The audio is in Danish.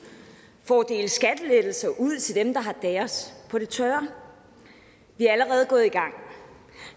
for at dele skattelettelser ud til dem der har deres på det tørre vi er allerede gået i gang